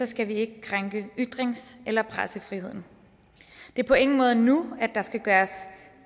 skal vi ikke krænke ytrings eller pressefriheden det er på ingen måde nu at der skal gøres